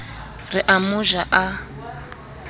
re o mo ja a